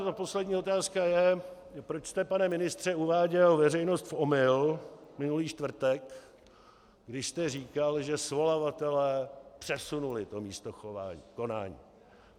A poslední otázka je: Proč jste, pane ministře, uváděl veřejnost v omyl minulý čtvrtek, když jste říkal, že svolavatelé přesunuli to místo konání?